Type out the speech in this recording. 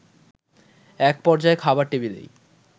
একপর্যায়ে খাবার টেবিলেই